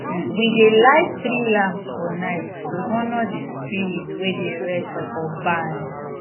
we dey light three lamps for night to honor the spirit wey dey rest for barn